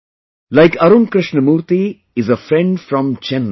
Like Arun Krishnamurthy is a friend from Chennai